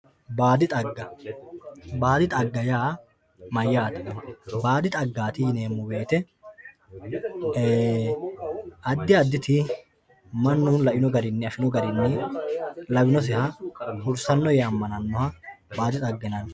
Baadi xagga baadi xagga yaa mayyate, baadi xaggati yineemmo woyte ee"e addi additi mannu laino garinni hursanoe yee amane .